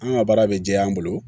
An ka baara bɛ jɛ an bolo